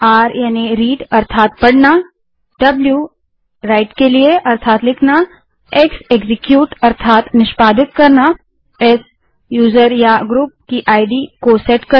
r read अर्थात पढ़ना w write अर्थात लिखना x एक्जीक्यूट अर्थात निष्पादित करना s यूजर या ग्रुप की इद को सेट करना